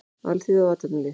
Alþýða og athafnalíf.